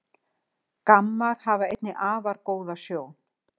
Gammar hafa einnig afar góða sjón.